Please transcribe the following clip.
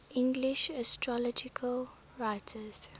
english astrological writers